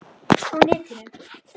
Á netinu